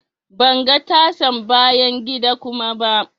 Ban ga tasan bayan gida kuma ba.